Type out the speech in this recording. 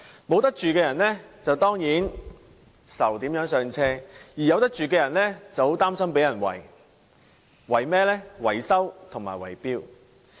沒得住的人當然為如何"上車"而煩惱，而有得住的人則很擔心被人"圍"。